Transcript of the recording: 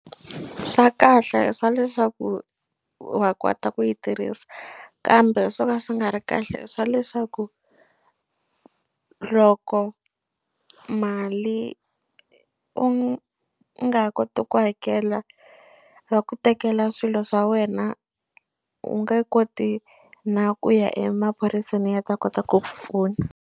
Swa kahle i swa leswaku wa kota ku yi tirhisa kambe swo ka swi nga ri kahle i swa leswaku loko mali u nga ha koti ku hakela va ku tekela swilo swa wena u nge koti na ku ya emaphoriseni ya ta kota ku ku pfuna.